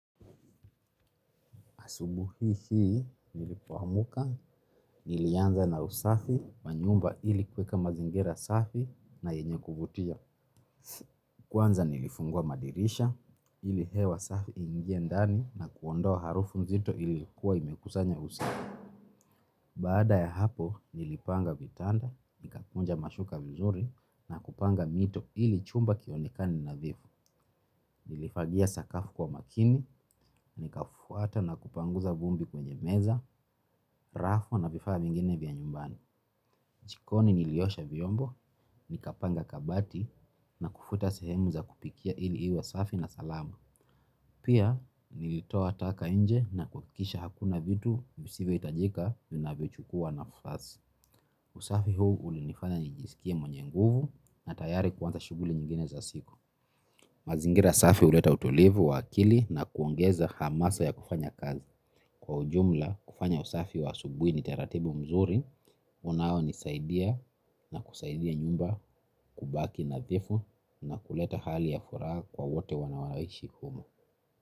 Asubuhi hii nilipoamuka, nilianza na usafi, wa nyumba ili kuweka mazingira safi na yenye kuvutia. Kwanza nilifungua madirisha, ili hewa safi i ingie ndani na kuondoa harufu nzito iliyokuwa imekusanya usafi. Baada ya hapo, nilipanga vitanda, nikakunja mashuka vizuri na kupanga mito ili chumba kionekane nadhifu. Nilifagia sakafu kwa umakini, nikafuata na kupanguza vumbi kwenye meza, rafo na vifaa vingine vya nyumbani. Jikoni niliosha vyombo, nikapanga kabati na kufuta sehemu za kupikia ili iwe safi na salama. Pia nilitoa taka nje na kuhakikisha hakuna vitu visivyo hitajika vinavyochukua nafasi. Usafi huu ulinifanya nijisikie mwenye nguvu na tayari kuanza shughuli nyingine za siku. Mazingira safi huleta utulivu wa akili na kuongeza hamasa ya kufanya kazi. Kwa ujumla kufanya usafi wa asubuhi ni taratibu mzuri unaonisaidia na kusaidia nyumba kubaki nadhifu na kuleta hali ya furaha kwa wote wanaoishi humo.